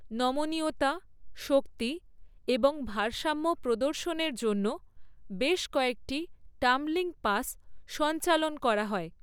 নমনীয়তা, শক্তি এবং ভারসাম্য প্রদর্শনের জন্য বেশ কয়েকটি টাম্বলিং পাস সঞ্চালন করা হয়।